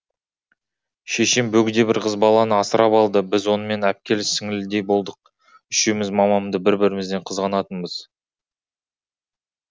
шешем бөгде бір қыз баланы асырап алды біз онымен әпкелі сіңлілідей болдық үшеуміз мамамды бір бірімізден қызғанатынбыз